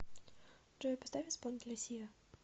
джой поставь исполнителя сиа